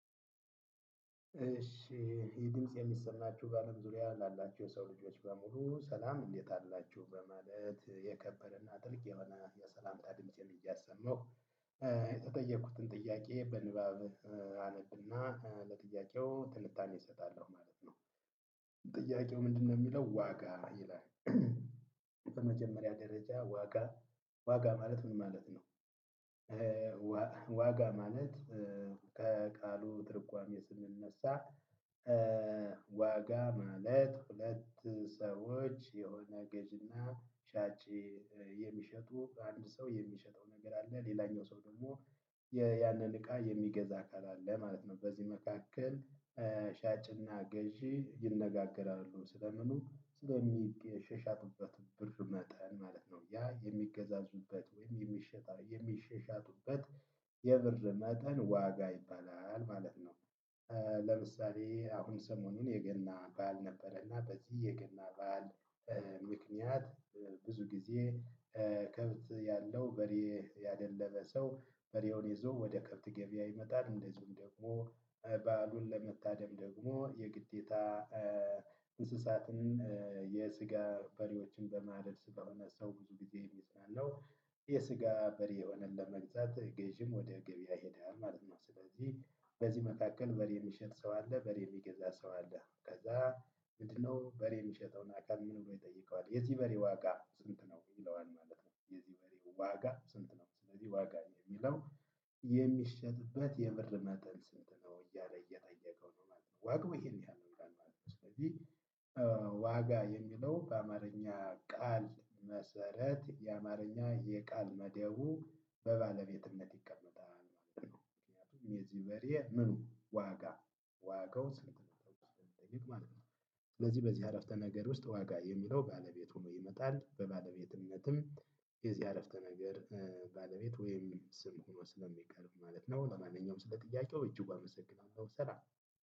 እሺ የድምጽ የሚሰማችሁ በአለም ዙሪያ ላላችሁ የሰው ልጆች በሙሉ ሰላም እንዴት አላችሁ? በማለት የከበረና ጥልቅ የሆነ የሰላም ድምጸ እያሰማሁ የተጠየኩትን ጥያቄ በንባብ አነብና ለጥያቄው ትልታኔ እሰጣለሁ ማለት ነው። ምንድነው የሚለው ዋጋ ይላል በመጀመሪያ ደረጃ ዋጋ ዋጋ ማለት ምን ማለት ነው? ዋጋ ማለት ከቃሉ ትርጓሜ ስንነሳ ዋጋ ማለት ሁለት ሰዎች የሆነ ገዥና ሻጭ የሚሸጡ አንድ ሰው የሚሸጠው ነገር አለ ሌላኛው ሰው ደግሞ ያለን እቃ የሚገዛ አካል አለ ማለት ነው። በዚህ መካከል ሻጭ እና ገዥ ይነጋገራሉ ስለምኑ ለምሳሌ አሁን ሰሞኑን የገና በዓል ነበረ እና በዚህ የገና በአልምክኒያት ብዙ ጊዜ ከብት ያለው በሬ ያደለበ ሰው በሬውን ይዞ ወደ ከብት ገበያ ይመጣል እንደዚውም ደግሞ ባሉን ለመታደም ደግሞ የግዴታ እንስሳትን የስጋ በሬዎችን በማደል ስታውና ሰው ብዙ ጊዜ እይዛለሁ የስጋ በሬ የሆነን ለመግዛት ገዢም ወደ ገበያ ሄደና ማለት ነው ስለዚህ በዚህ መካከል በሬ የሚሸጥ ሰው አለ በሬ የሚገዛ ሰው አለ ከዛ ይሄኛው በሬ ሚሽጠውን ይጠይቀዋል፣ የቱ በሬ ዋጋ የሚለው በአማርኛ ቃል መሰረት የአማርኛ የቃል መደቡ በባለቤትነት ይቀመጣል። የዚህ በሬ ምኑ ዋጋ ዋጋው ስለሚጠቅም ማለት ነው ስለዚህ በዚህ አረፍተ ነገር ውስጥ ዋጋ የሚለው ባለቤት ሆኖ ይመጣል በባለቤትነትም የዚህ አረፍተ ነገር ባለቤት ወይም ስም ሆኖ ስለሚቀርብ ማለት ነው ለማንኛውም ስለ ጥያቄው እጅጉ አመሰግናለሁ ሰላም